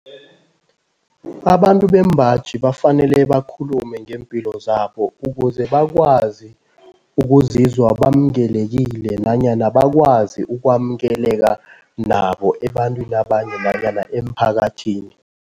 Abantu bembaji bafanele bakhulume ngeempilo zabo ukuze bakwazi ukuzizwa bamkelekile nanyana bakwazi ukwamkeleka nabo ebantwini abanye nanyana emphakathini.